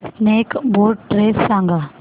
snake boat race सांग